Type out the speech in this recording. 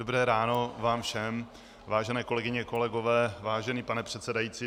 Dobré ráno vám všem, vážené kolegyně, kolegové, vážený pane předsedající.